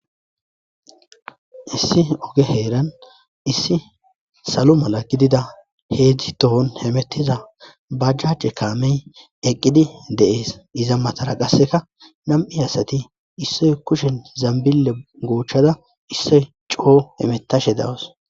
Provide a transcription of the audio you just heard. issi oge heeran issi salo mala gidida heedzdzi tohon hemettiza bajjacje kaamey eqqidi deees iza matara qasseka nam7i asati issoy kushen zambille goochchada issoy coo hemetashe dawas